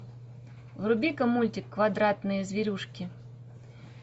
вруби ка мультик квадратные зверюшки